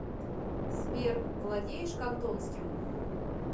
сбер владеешь кантонским